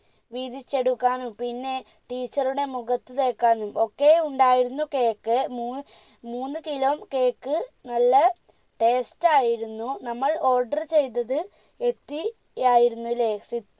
വീതിച്ചെടുക്കാനും പിന്നെ teacher ടെ മുഖത്ത് തേക്കാനും ഒക്കെ ഉണ്ടായിരുന്നു cake മൂന്ന് മൂന്ന് kilo cake നല്ല taste ആയിരുന്നു നമ്മൾ order ചെയ്തത് എത്തി ആയിരുന്നുലെ